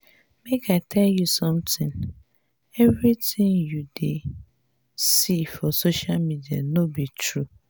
make i tell you something. everything you dey see for social media no be true.